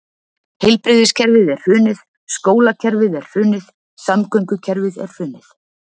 Heilbrigðiskerfið er hrunið, skólakerfið er hrunið, samgöngukerfið er hrunið.